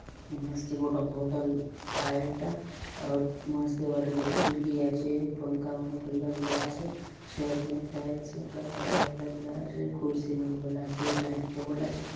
मस्त गोटोक होटल आय ए टा आउर मस्त ए बाटे गोटे खिड़की आचे पंखा उनखा लगला आचे छत ने टाइल्स मन काई काई आय आले लगला आचे कुर्सी मन बले आचे डायनिंग टेबल आचे।